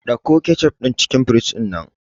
Ɗauko kecof din cikin fridge dinnan